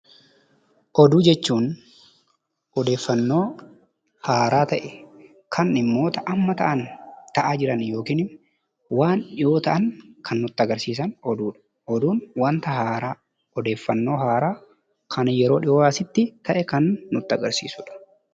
Oduu jechuun odeeffannoo haaraa ta'e kan dhimmoota amma ta'aa jiran waan dhiyoo ta'an kan nutti agarsiisan oduu dha. Oduun wanta haaraa; odeeffannoo haaraa kan yeroo dhiyoo asitti ta'e kan nutti agarsiisuu dha.